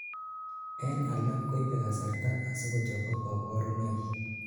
en alak koibei kasarta asikochobok kaborunoik